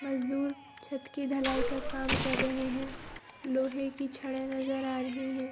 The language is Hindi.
मजदुर छत की ढ़लाई का काम कर रहें हैं। लोहे की छड़ें नजर आ रही है।